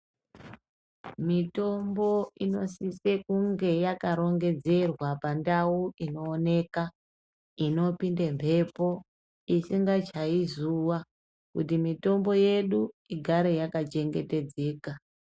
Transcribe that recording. Mitombo inosise kunge yakarongedzerwa pandau inooneka. Inopinda mhepo, isingachayi zuwa. Kuti mitombo yedu igare yakachengetedzeka. .